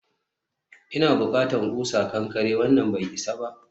ina bukatan ƙusa kankare, wannan bai isa ba